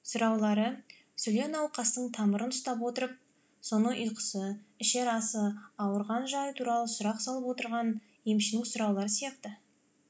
сұраулары сүле науқастың тамырын ұстап отырып соның ұйқысы ішер асы ауырған жайы туралы сұрақ салып отырған емшінің сұраулары сияқты